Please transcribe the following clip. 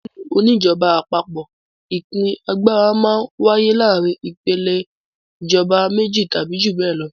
Nílùú oníjọba àpapọ̀ ìpín agbára máa ń wáyé láàárin ìpèlè ìjọba méjì tàbí ju bẹ́ẹ̀ lọ.